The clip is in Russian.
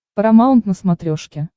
парамаунт на смотрешке